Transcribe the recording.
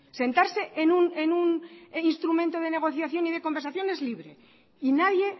sentarse en un instrumento de negociación y de conversación es libre y nadie